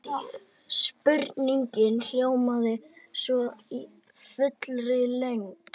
Spurningin hljómaði svona í fullri lengd: